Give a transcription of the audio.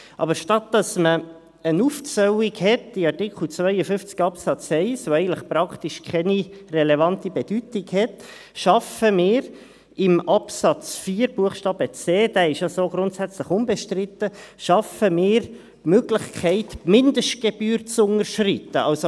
Aber anstatt einer Aufzählung in Artikel 52 Absatz 1, die eigentlich praktisch keine relevante Bedeutung hat, schaffen wir in Absatz 4 Buchstabe c, der ist ja so grundsätzlich unbestritten ist, die Möglichkeit, die Mindestgebühr zu unterschreiten.